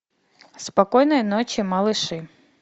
спокойной ночи малыши